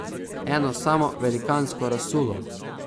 Eno samo velikansko razsulo.